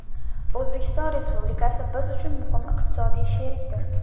O‘zbekiston Respublikasi biz uchun muhim iqtisodiy sherikdir.